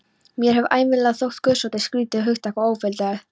Mér hefur ævinlega þótt guðsótti skrýtið hugtak og óviðfelldið.